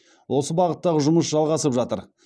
осы бағыттағы жұмыс жалғасып жатыр